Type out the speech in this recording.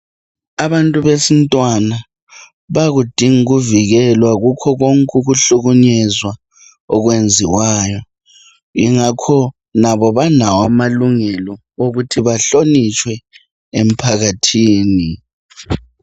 Abantu besintwana bayakudinga ukuvikelwa kukho konke ukuhlukunyezwa okwenziwayo, yingakho labo balawo amalungelo okuthi bahlonitshwe emphakathini.